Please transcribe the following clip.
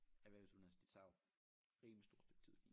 Erhvervsuddannelse det tager jo rimelig stort stykke tid